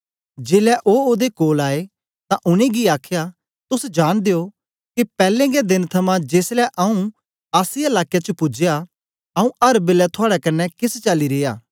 जेलै ओ ओदे कोल आए तां उनेंगी आखया तोस जांनदे ओ के पैले गै देन थमां जेसलै आंऊँ आसिया लाके च पूजया आंऊँ अर बेलै थुआड़े कन्ने केस चाली रिया